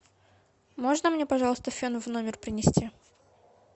можно мне пожалуйста фен в номер принести